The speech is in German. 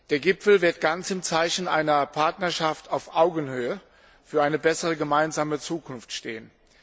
Der Gipfel wird ganz im Zeichen einer Partnerschaft auf Augenhöhe für eine bessere gemeinsame Zukunft stehen.